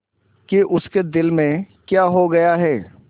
कि उसके दिल में क्या हो गया है